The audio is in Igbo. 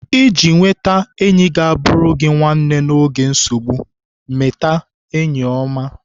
Iji nweta enyi ga-abụrụ gị nwanne n'oge nsogbu, mete enyi ọma.